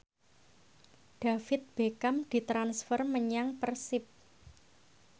David Beckham ditransfer menyang Persib